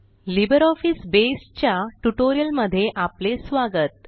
LibreOffice Base च्या ट्युटोरियलमध्ये आपले स्वागत